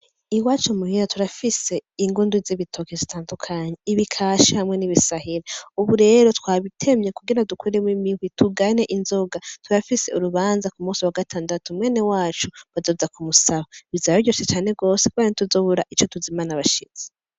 Iwacu muhira turafise ingundu z' ibitoki zitandukanye ibikashi hamwe n' ibisahiro, ubu rero twabitemye kugire dukuremwo imihwi tugane inzoga turafise urubanza umunsi wa gatandatu mwene wacu bazoza kumusaba, bizoba biryoshe cane gose kubera ntituzobura ico tuzimana abashitsi.